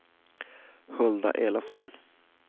Hulda Elofsson